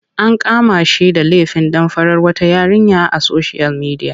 An kama shi da lefin damfarar wata yarinya a soshiyal midiya.